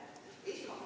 Kõike head!